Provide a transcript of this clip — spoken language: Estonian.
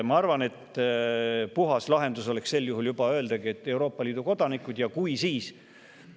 Ma arvan, et puhas lahendus oleks öelda, et Euroopa Liidu kodanikud.